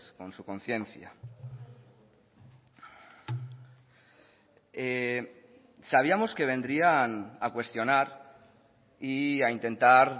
con su conciencia sabíamos que vendrían a cuestionar y a intentar